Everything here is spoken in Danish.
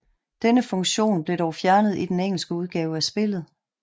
Denne funktion blev dog fjernet i den engelske udgave af spillet